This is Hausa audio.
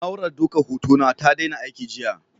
Na'urar daukar hotona ta daina aiki jiya.